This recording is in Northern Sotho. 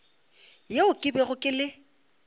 yeo ke bego ke le